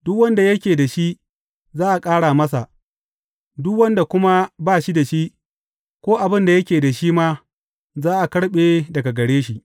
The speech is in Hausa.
Duk wanda yake da shi, za a ƙara masa, duk wanda kuma ba shi da shi, ko abin da yake da shi ma, za a karɓe daga gare shi.